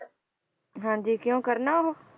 ਹਾਂਜੀ ਕਿਉਂ ਕਰਨਾ ਉਹ?